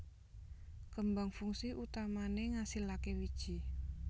Kembang fungsi utamané ngasilaké wiji